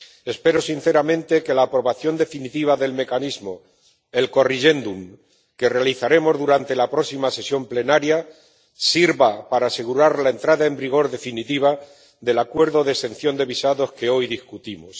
Espero sinceramente que la aprobación definitiva del mecanismo, el corrigendo que realizaremos durante la próxima sesión plenaria, sirva para asegurar la entrada en vigor definitiva del acuerdo de exención de visados que hoy debatimos.